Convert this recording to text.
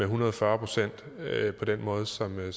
hundrede og fyrre procent på den måde som det